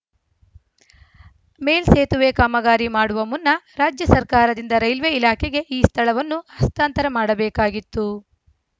ಮೇಲ್‌ ಸೇತುವೆ ಕಾಮಗಾರಿ ಮಾಡುವ ಮುನ್ನ ರಾಜ್ಯ ಸರ್ಕಾರದಿಂದ ರೈಲ್ವೇ ಇಲಾಖೆಗೆ ಈ ಸ್ಥಳವನ್ನು ಹಸ್ತಾಂತರ ಮಾಡಬೇಕಾಗಿತ್ತು